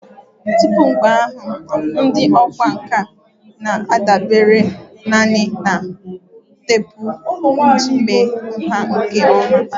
Tupu mgbe ahụ, ndị ọkwá nkà na-adabere nanị na teepu iji mee nha nke ọma